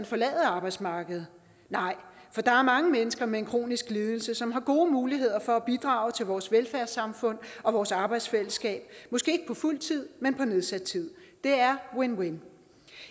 forlade arbejdsmarkedet nej for der er mange mennesker med en kronisk lidelse som har gode muligheder for at bidrage til vores velfærdssamfund og vores arbejdsfællesskab måske ikke på fuld tid men på nedsat tid det er win win